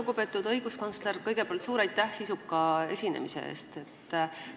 Lugupeetud õiguskantsler, kõigepealt suur aitäh sisuka esinemise eest!